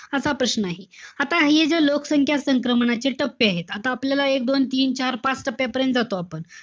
असा प्रश्न आहे. आता हे जे लोकसंख्या संक्रमणाचे टप्पे आहेत. आता आपल्याला एक-दोन-तीन-चार-पाच टप्प्यापर्यंत जातो आपण.